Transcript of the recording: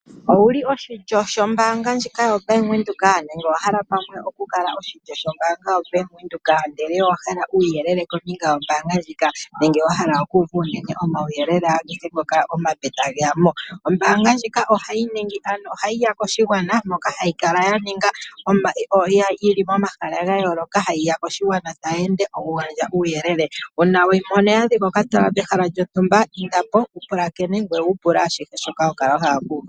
Owuli oshilyo shoombaanga ndjika ya Venduka nenge owahala pamwe okukala oshilyo shoombaanga ya Venduka ndele o wahala uuyelele kombinga yombaanga ndjika nenge wa hala oku uva uuyelele kombinga omawuyelele agehe kehe tageyamo . Ombaanga ndjika ohayiya koshigwana moka hayi kala yili momahala ga yooloka hayiya koshigwana tayi ende nokugandja uuyelele uuna we yi mono ya dhika okatala pehala lyontumba indapo wu pulakene ngoye wupule ashihe shoka ho kala wahala oku uva.